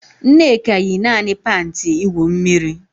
Nneka yi naanị panti igwu mmiri